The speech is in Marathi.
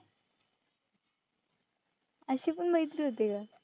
अशी पण मैत्री होते का?